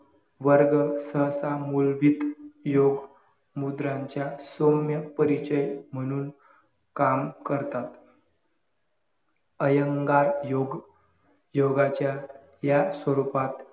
वर्ग सहसा मूलवित योग मुद्रांच्या सौम्य परिचय म्हणून काम करतात इयेंगेर योग योगाच्या या स्वरूपात